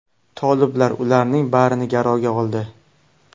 Toliblar ularning barini garovga oldi.